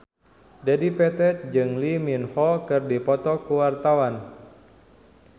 Dedi Petet jeung Lee Min Ho keur dipoto ku wartawan